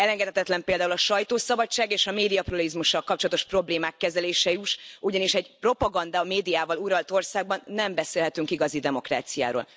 Elengedhetetlen például a sajtószabadsággal és a médiapluralizmussal kapcsolatos problémák kezelése is, ugyanis egy propagandamédiával uralt országban nem beszélhetünk igazi demokráciáról.